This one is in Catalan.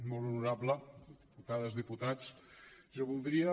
molt honorable diputades diputats jo voldria